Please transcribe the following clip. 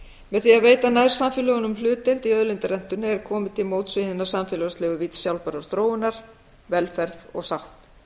með því að veita nærsamfélögunum hlutdeild í auðlindarentunni er komið til móts við hina samfélagslegu vídd sjálfbærrar þróunar velferð og sátt